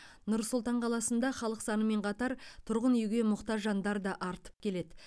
нұр сұлтан қаласында халық санымен қатар тұрғын үйге мұқтаж жандар да артып келеді